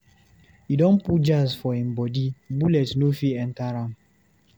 E don go put jazz for him bodi, bullet no fit enter am.